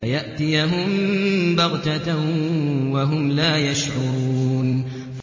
فَيَأْتِيَهُم بَغْتَةً وَهُمْ لَا يَشْعُرُونَ